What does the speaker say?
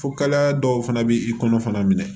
Fo kala dɔw fana bɛ i kɔnɔ fana minɛ